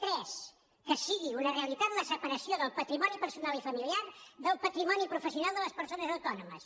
tres que sigui una realitat la separació del patrimoni personal i familiar del patrimoni professional de les persones autònomes